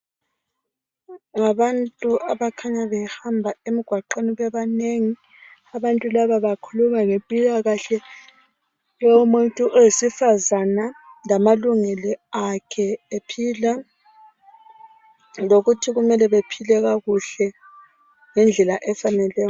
Ngabantu abakhanya behamba emgwaqeni bebanengi. Abantu laba bakhuluma ngempilakahle yomuntu oyisifazana lamalungelo akhe ephila. Lokuthi kumele bephile kakuhle ngendlela efaneleyo.